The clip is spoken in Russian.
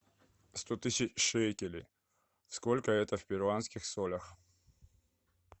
сто тысяч шекелей сколько это в перуанских солях